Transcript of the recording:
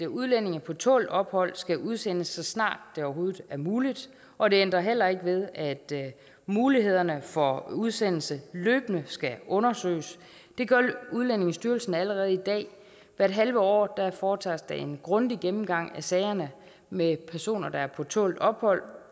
udlændinge på tålt ophold skal udsendes så snart det overhovedet er muligt og det ændrer heller ikke ved at mulighederne for udsendelse løbende skal undersøges det gør udlændingestyrelsen allerede i dag hvert halve år foretages der en grundig gennemgang af sagerne med personer der er på tålt ophold